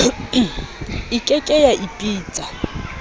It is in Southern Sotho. e ke ke ya ipitsa